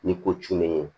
Ni ko cunnen